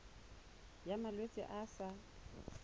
ya malwetse a a sa